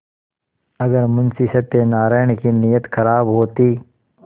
अगर मुंशी सत्यनाराण की नीयत खराब होती